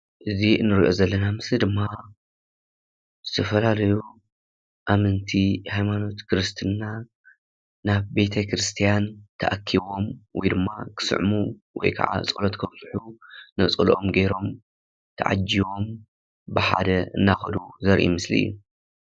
እዚ እንሪኦ ዘለና ምስሊ ድማ ዝተፈላለዩ ኣመንቲ ሃይማኖት ክርስትና ናብ ቤተ-ክርስትያን ተኣኪቦም ወይ ድማ ክስዕሙ ወይ ከዓ ፀሎት ከብፅሑ ነፀለኦም ጌሮም ተዓጂቦም ብሓደ እናኸዱ ዘርኢ ምስሊ እዩ፡፡